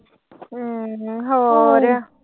ਹਮ ਹੋਰ।